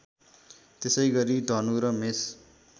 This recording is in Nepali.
त्यसैगरी धनु र मेष